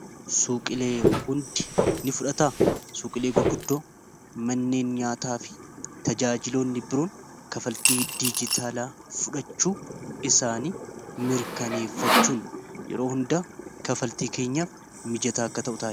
suuqilee hundi ni fudhataa suuqilee gurguddoo manneen nyaataa fi tajaajiloonni biroon kafaltii diijitaalaa fudhachuu isaan mirkaneeffachuun yeroo hunda kafaltii keenyaaf mijataa akka ta'utdha